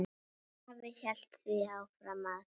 Afi hélt því fram að